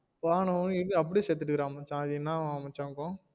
போனதும் அப்டியே செத்து போயிட்டான் மச்சான் அது என்னவா மச்சா இருக்கும்